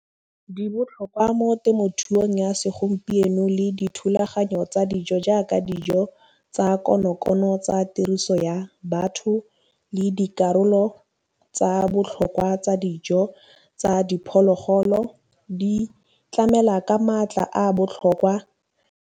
Di botlhokwa mo temothuong ya segompieno le dithulaganyo tsa dijo jaaka, dijo tsa konokono tsa tiriso ya batho le dikarolo tsa botlhokwa tsa dijo tsa diphologolo, di tlamela ka maatla a botlhokwa.